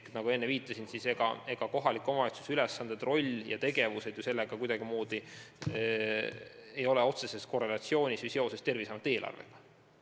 Nagu ma enne viitasin, kohaliku omavalitsuse ülesanded, roll ja tegevused ei ole ju sellega kuidagimoodi otseses korrelatsioonis, need ei ole seotud Terviseameti eelarvega.